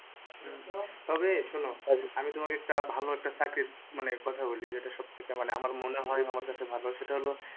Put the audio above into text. হম তবে শোনো আমি তোমাকে একটা ভালো একটা চাকরির মানে কথা বলি যেটা সবথেকে মানে আমার মনে হয় আমার কাছে ভালো সেটা হল,